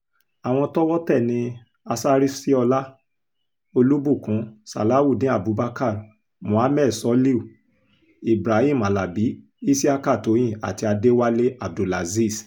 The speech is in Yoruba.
àwọn tọ́wọ́ tẹ̀ ní asariṣíọlá olùbùkún sàláùdéen abubakar mohammed soliu ibahim alábi isiaka tóyìn àti adéwálé abdulazeez